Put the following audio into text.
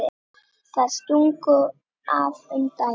Þær stungu af um daginn.